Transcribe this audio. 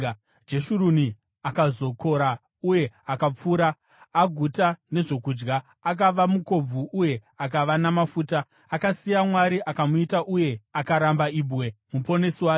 Jeshuruni akazokora uye akapfura; aguta nezvokudya, akava mukobvu uye akava namafuta. Akasiya Mwari akamuita uye akaramba Ibwe, Muponesi wake.